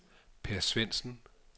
Per Svendsen